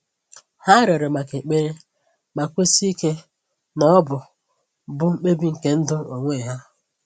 Ha rịọrọ maka ekpere, ma kwesi ike na ọ bụ bụ mkpebi nke ndụ onwe ha.